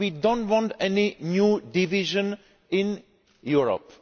We do not want a new division in Europe.